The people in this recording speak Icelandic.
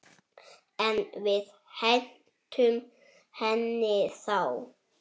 En við hentum henni þá.